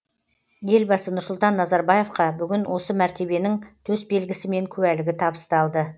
елбасы нұрсұлтан назарбаевқа бүгін осы мәртебенің төсбелгісі мен куәлігі табысталды